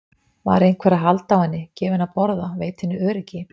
Var einhver að halda á henni, gefa henni að borða, veita henni öryggi?